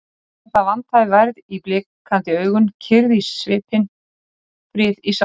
Eins og það vantaði værð í blikandi augun, kyrrð í svipinn, frið í sálina.